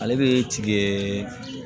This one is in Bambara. Ale bɛ tigɛ